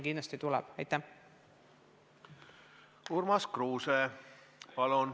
Urmas Kruuse, palun!